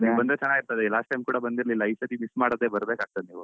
ನೀವ್ ಬಂದ್ರೆ ಚೆನ್ನಾಗಿರ್ತದೆ last time ಕೂಡ ಬಂದಿರ್ಲಿಲ್ಲ, ಈ ಸರ್ತಿ miss ಮಾಡದೆ ಬರ್ಬೇಕಾಗ್ತದೆ ನೀವು.